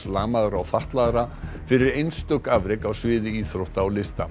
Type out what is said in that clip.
lamaðra og fatlaðra fyrir einstök afrek á sviði íþrótta og lista